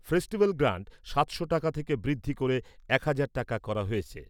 Festival grant সাতশো টাকা থেকে বৃদ্ধি করে এক হাজার টাকা করা হয়েছে ।